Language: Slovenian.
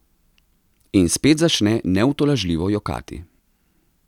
In spet začne neutolažljivo jokati.